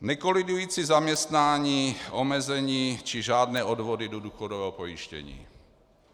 Nekolidující zaměstnání, omezení či žádné odvody do důchodového pojištění.